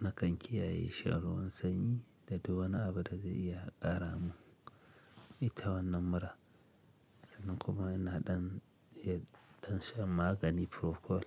na kan kiyaye sha'awar sanyi da duk wani Abu dazai iya ƙaramin ita wannan mura sannan kuma ina ɗan iya dan shan magani furokol.